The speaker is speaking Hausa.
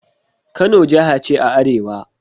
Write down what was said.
Kano jaha ce a arewa.